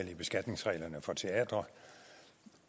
i beskatningsreglerne for teatre